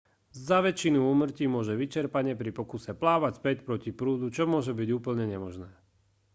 za väčšinu úmrtí môže vyčerpanie pri pokuse plávať späť proti prúdu čo môže byť úplne nemožné